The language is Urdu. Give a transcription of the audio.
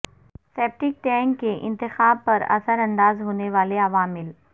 سیپٹیک ٹینک کے انتخاب پر اثر انداز ہونے والے عوامل